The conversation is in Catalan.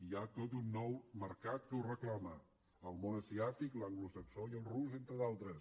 hi ha tot un nou mercat que ho reclama el món asiàtic l’anglosaxó i el rus entre d’altres